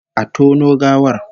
Exhume the corpse!